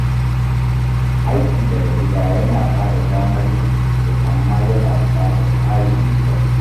Aiki daga gida yana ba da damar yin hutu amma yana buƙatar tsari mai kyau.